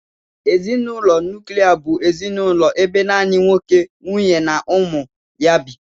Ezinụlọ nuklia bụ ezinụlọ ebe naanị nwoke ,nwunye ya na ụmụ ya bi